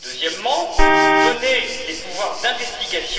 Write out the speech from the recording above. deuxièmement, donner des pouvoirs étendus d'investigation